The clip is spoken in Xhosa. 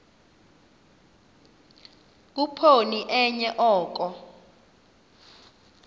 khuphoni enye oko